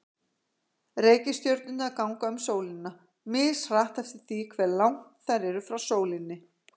Reikistjörnurnar ganga um sólina, mishratt eftir því hve langt þær eru frá sólinni.